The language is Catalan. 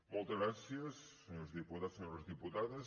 moltes gràcies senyors diputats senyores diputades